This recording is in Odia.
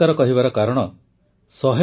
ମୋର ପ୍ରିୟ ଦେଶବାସୀଗଣ ଆପଣ ସମସ୍ତଙ୍କୁ ନମସ୍କାର